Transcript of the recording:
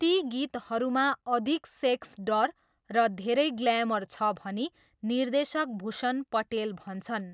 ती गीतहरूमा अधिक सेक्स डर र धेरै ग्लैमर छ भनी निर्देशक भूषण पटेल भन्छन्।